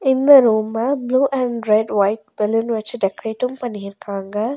இந்த ரூம்ப blue and red white balloon வெச்சி டெக்ரேட்டும் பண்ணி இருக்காங்க.